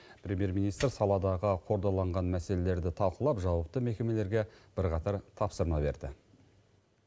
премьер министр саладағы қордаланған мәселелерді талқылап жауапты мекемелерге бірқатар тапсырма берді